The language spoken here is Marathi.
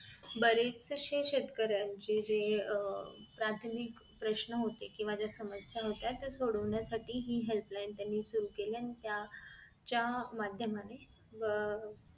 बरेचशे शेतकऱ्यानंची जे अह प्राथमिक जे प्रश्न होते कि केंव्हा समस्या होत्या त्या सोडवण्यासाठी हि helpline त्यांनी सुरु केली आणि त्या च्या माध्यमाने अह